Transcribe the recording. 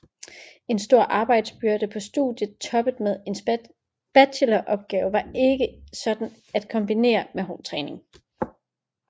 En stor arbejdsbyrde på studiet toppet med en bacheloropgave var ikke sådan at kombinere med hård træning